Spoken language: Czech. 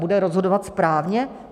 Bude rozhodovat správně?